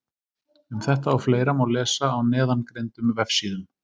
Um þetta og fleira má lesa á neðangreindum vefsíðum.